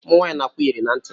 Umunwaanyi na- akụ iyeri na ntị.